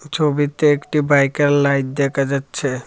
ছবিতে একটি বাইকের লাইট দেখা যাচ্ছে।